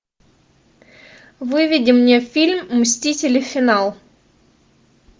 выведи мне фильм мстители финал